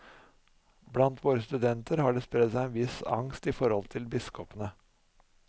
Blant våre studenter har det spredt seg en viss angst i forhold til biskopene.